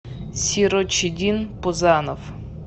сирочиддин пузанов